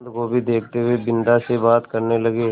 बन्दगोभी देखते हुए बिन्दा से बात करने लगे